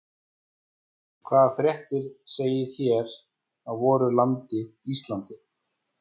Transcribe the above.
Og hvaða fréttir segið þér af voru landi Íslandi?